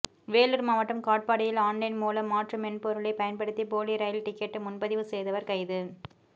வேலூர் மாவட்டம் காட்பாடியில் ஆன்லைன் மூலம் மாற்று மென்பொருளை பயன்படுத்தி போலி ரயில் டிக்கெட்டு முன்பதிவு செய்தவர் கைது